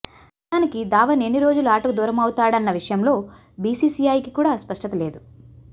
నిజానికి ధావన్ ఎన్ని రోజులు ఆటకు దూరమవుతాడన్న విషయంలో బీసీసీఐకి కూడా స్పష్టత లేదు